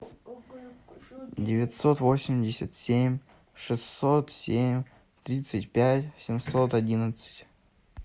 девятьсот восемьдесят семь шестьсот семь тридцать пять семьсот одиннадцать